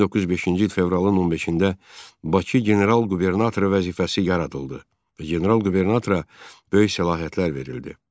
1905-ci il fevralın 15-də Bakı general qubernatoru vəzifəsi yaradıldı və general qubernatora böyük səlahiyyətlər verildi.